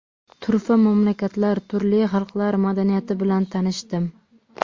Turfa mamlakatlar, turli xalqlar madaniyati bilan tanishdim.